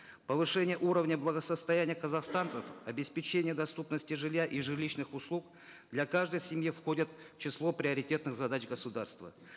повышение уровня благосостояния казахстанцев обеспечение доступности жилья и жилищных услуг для каждой семьи входят в число приоритетных задач государства